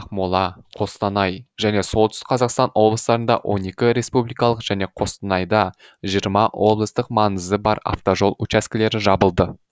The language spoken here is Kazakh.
ақмола қостанай және солтүстік қазақстан облыстарында он екі республикалық және қостанайда жиырма облыстық маңызы бар автожол учаскілері жабылды